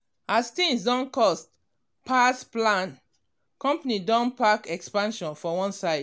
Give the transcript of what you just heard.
as things don cost pass plan company don park expansion for one side.